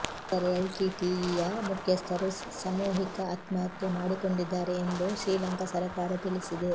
ಆದರೆ ಎಲ್ಟಿಟಿಇಯ ಮುಖ್ಯಸ್ಥರು ಸಮೂಹಿಕ ಆತ್ಮಹತ್ಯೆ ಮಾಡಿಕೊಂಡಿದ್ದಾರೆ ಎಂದು ಶ್ರೀಲಂಕಾ ಸರಕಾರ ತಿಳಿಸಿದೆ